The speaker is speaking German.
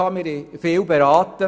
wir haben viel beraten.